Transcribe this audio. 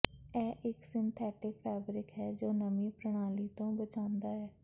ਇਹ ਇੱਕ synthetic fabric ਹੈ ਜੋ ਨਮੀ ਪ੍ਣਾਲੀ ਤੋਂ ਬਚਾਉਂਦਾ ਹੈ